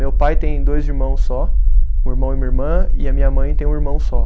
Meu pai tem dois irmãos só, um irmão e uma irmã, e a minha mãe tem um irmão só.